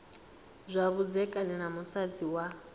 zwa vhudzekani na musadzi wa